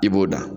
I b'o da